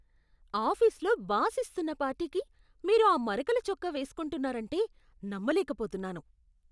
ఆఫీస్లో బాస్ ఇస్తున్న పార్టీకి మీరు ఆ మరకల చొక్కా వేసుకుంటున్నారంటే నమ్మలేకపోతున్నాను.